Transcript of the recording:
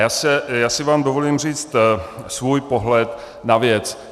Já si vám dovolím říct svůj pohled na věc.